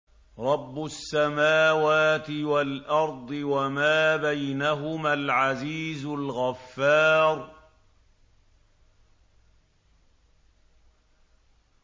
رَبُّ السَّمَاوَاتِ وَالْأَرْضِ وَمَا بَيْنَهُمَا الْعَزِيزُ الْغَفَّارُ